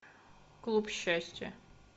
клуб счастья